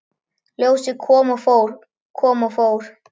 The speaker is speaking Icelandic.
Ljósið kom og fór, kom og fór.